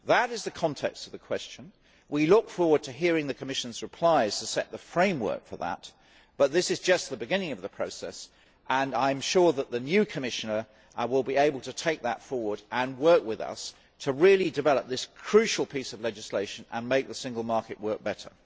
That is the context of the question. We look forward to hearing the Commission's reply to set the framework for that, but this is just the beginning of the process and I am sure that the new Commissioner will be able to take that forward and work with us to really develop this crucial piece of legislation and make the single market work better.